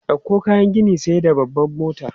Ɗauko kayan gini sai da babbar mota.